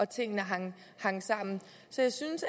tingene hang sammen så jeg synes